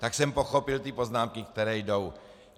Tak jsem pochopil ty poznámky, které jdou.